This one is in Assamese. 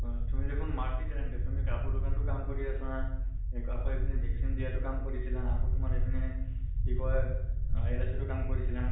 অ তুমি দেখোন multi talented, তুমি কাপোৰ ৰ দোকান তো কাম কৰি আছা । আ আকৌ ইপিনে vaccine দিয়াতো কাম কৰিছিলা । আকৌ তোমাৰ ইপিনে কি কয় LIC তো কাম কৰিছিলা